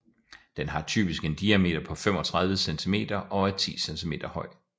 Den har typisk en diameter på 35 cm og er 10 cm høj